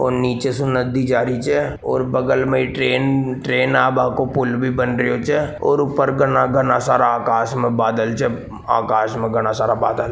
और नीचे सु नदी जा रही छ और बगल में ही ट्रेन ट्रेन आबा को पुल भी बन रहियो छ और ऊपर घणा घणा सारा आकाश में बादल छप आकाश में घणा सारा बादल--